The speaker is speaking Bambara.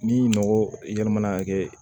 Ni mɔgɔ i yɛrɛ mana kɛ